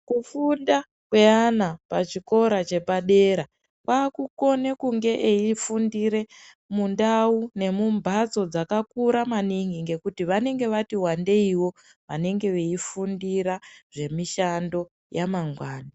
Kufunda kweana pachikora chepadera kwakukone kunge eifundire mundau nemumbatso dzakakura maningi ngekuti vanengevati wandeiwo vanenge veifundira zvemishando yamangwani.